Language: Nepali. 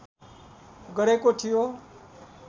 गरेको थियो